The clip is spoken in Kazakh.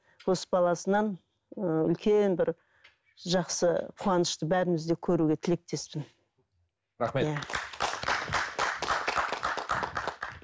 қос баласынан ыыы үлкен бір жақсы қуанышты бәріміз де көруге тілектеспін рахмет